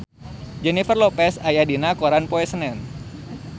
Jennifer Lopez aya dina koran poe Senen